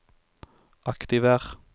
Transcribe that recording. aktiver